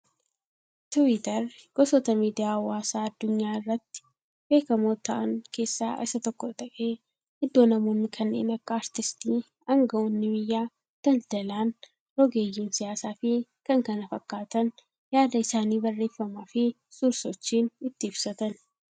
Tiwiitarri, Gosoota Miidiyaa hawaasaa addunyaa irratti beekamaoo ta'am keessaa isa tokko ta'ee iddoo namoonni kanneen akka Aartiistii, Aangaa'oonni biyyaa, daldalaan, rogeeyyiin siyaasaa fi kan kana fakkaatan yaada isaanii baarreefamaafi suur-sochiin itti ibsatani.